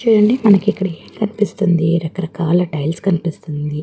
చూడండి మనకి ఇక్కడ ఎం కనిపిస్తుంది రక రకాల టైల్స్ కనిపిస్తున్నాయి.